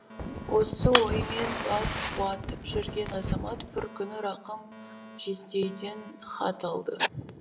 осы оймен бас уатып жүрген азамат бір күні рақым жездейден хат алды